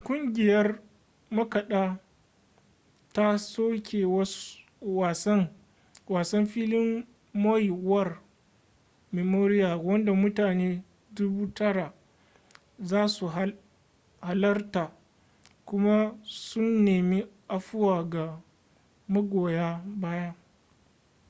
ƙungiyar makaɗa ta soke wasan filin maui war memorial wanda mutane 9,000 za su halarta kuma sun nemi afuwa ga magoya baya